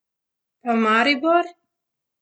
Pa Maribor?